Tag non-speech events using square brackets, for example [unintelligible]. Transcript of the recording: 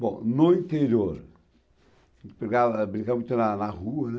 Bom, no interior, [unintelligible] brincava muito na na rua, né?